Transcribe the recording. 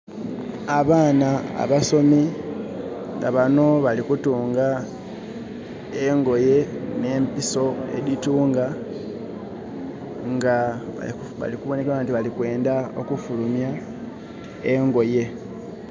Abaana abasomi nga bano bali kutunga engoye ne mpiso editunga nga balikuboneka balikwenda okufulumya engoye